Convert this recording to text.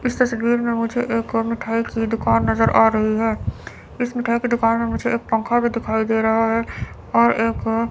इस तस्वीर में मुझे एक मिठाई की दुकान नजर आ रही है इस मिठाई की दुकान में मुझे एक पंखा भी दिखाई दे रहा है और एक--